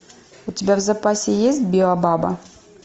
у тебя в запасе есть биобаба